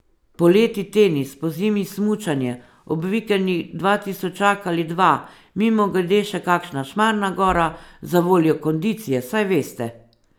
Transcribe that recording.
Poleti tenis, pozimi smučanje, ob vikendih dvatisočak ali dva, mimogrede še kakšna Šmarna gora, zavoljo kondicije, saj veste.